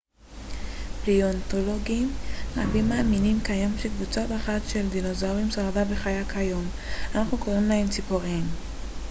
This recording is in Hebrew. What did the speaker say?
פליאונתולוגים רבים מאמינים כיום שקבוצה אחת של דינוזאורים שרדה וחיה כיום אנחנו קוראים להם ציפורים